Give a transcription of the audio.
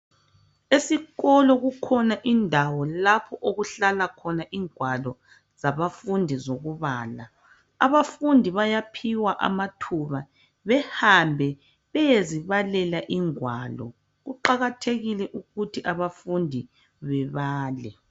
Esikolo kukhona indawo lapho okuhlala khona ingwalo zabafundi zokubala. Abafundi bayiphiwa amathuba lokuthi behambe beyezibalela ingwalo. Kuqakathekile ukuthi abafundi bebale.